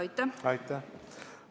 Aitäh!